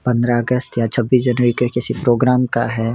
पंद्रह अगस्त या छब्बीस जनवरी के किसी प्रोग्राम का है।